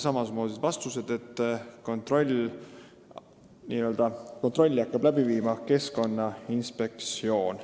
Saime vastuseks, et Keskkonnainspektsioon.